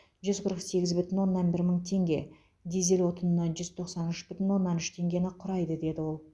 жүз қырық сегіз бүтін оннан бір мың теңге дизель отынына жүз тоқсан үш бүтін оннан үш теңгені құрайды деді ол